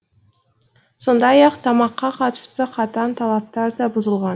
сондай ақ тамаққа қатысты қатаң талаптар да бұзылған